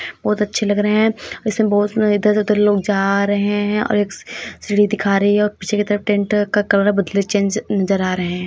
बहुत अच्छे लग रहे हैं। इसमें बहुत से लोग इधर उधर जा रहे हैं और ए सीढ़ी दिखा रही है और पीछे की तरफ टेंट का कलर बदले नजर आ रहे हैं।